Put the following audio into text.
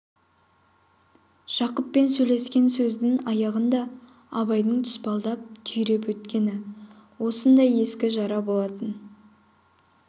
жақыппен сөйлескен сөздің аяғында абайдың тұспалдап түйреп өткені осындай ескі жара болатын